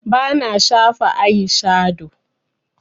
Bana shafa aishado